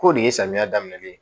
K'o de ye samiya daminɛ ye